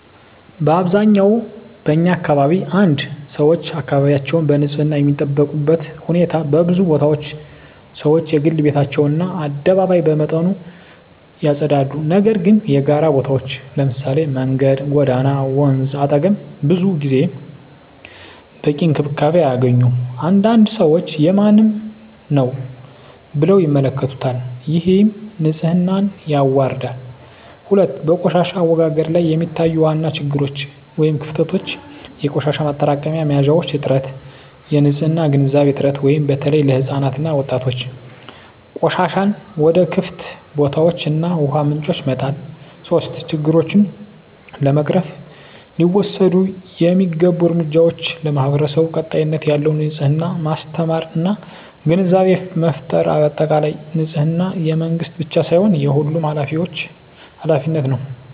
በአብዛኛው በኛ አካባቢ 1️⃣ ሰዎች አካባቢያቸውን በንፅህና የሚጠብቁበት ሁኔታ በብዙ ቦታዎች ሰዎች የግል ቤታቸውን እና አደባባይ በመጠኑ ያጸዳሉ፤ ነገር ግን የጋራ ቦታዎች (መንገድ፣ ጎዳና፣ ወንዝ አጠገብ) ብዙ ጊዜ በቂ እንክብካቤ አያገኙም። አንዳንድ ሰዎች “የማንም ነው” ብለው ይመለከቱታል፣ ይህም ንፅህናን ያዋርዳል። 2, በቆሻሻ አወጋገድ ላይ የሚታዩ ዋና ችግሮች / ክፍተቶች - የቆሻሻ ማጠራቀሚያ መያዣዎች እጥረት -የንፅህና ግንዛቤ እጥረት (በተለይ ለሕፃናት እና ወጣቶች) -ቆሻሻን ወደ ክፍት ቦታዎች እና ውሃ ምንጮች መጣል 3, ችግሮቹን ለመቅረፍ ሊወሰዱ የሚገቡ እርምጃዎች ,ለማህበረሰቡ ቀጣይነት ያለው የንፅህና ማስተማር እና ግንዛቤ ፍጠር በአጠቃላይ፣ ንፅህና የመንግስት ብቻ ሳይሆን የሁሉም ኃላፊነት ነው።